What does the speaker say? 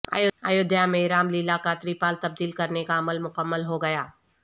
ایودھیا میں رام للا کا ترپال تبدیل کرنے کا عمل مکمل ہوگیا